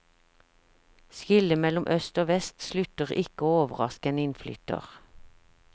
Skillet mellom øst og vest slutter ikke å overraske en innflytter.